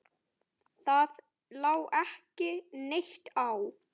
Það lá ekki neitt á.